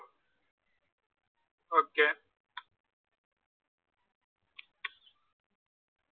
okay.